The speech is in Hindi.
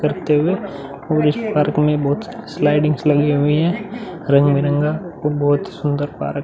करते हुए और इस पार्क में बहुत स्लाइड्स भी लगी हुई है रंग-बिरंगा और बहुत ही सुन्दर पार्क --